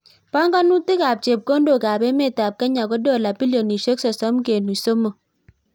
Panganutik ab chepkondok ab emet ab kenya ko dola bilionishek sosom kenuch somok